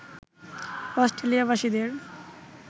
Australia বাসীদের